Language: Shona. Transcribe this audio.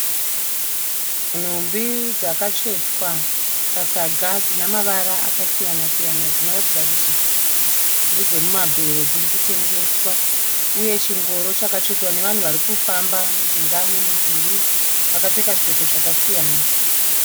Nhumbi dzakatsvetwa pasaga dzinemavara akasiyana-siyana dzinoratidza kuti ndedze mumabhero dzirikutengeswa uye chingoro chakatsvetwa nevanhu varikufamba mujinga memudhuri vakapfeka zvipfeko zvakasiyana.